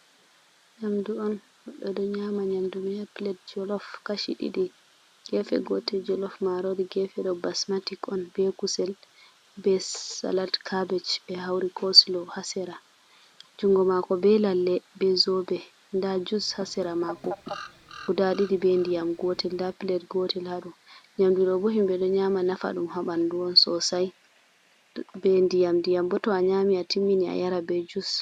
Nyamdu on goɗɗo ɗo nyama nyamdu mai ha plet jolof kashi ɗiɗi gefe gotel jolof ma rori gefe do basmatik on be kusel be salat carbaj be hauri coslo hasira jungo mako be lalle be zobe da jus hasira mako guda ɗiɗi be ndiyam gotel da plet gotel hado nyamdu ɗobo himbe ɗo nyama nafa dum habandu’on sosai be ndiyam diyamboto a nyami a timmini a yara be jus.